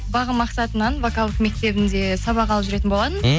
бағым мақсатынан вокалдық мектебінде сабақ алып жүрген болғанмын